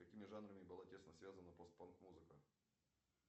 с какими жанрами была тесно связана пост панк музыка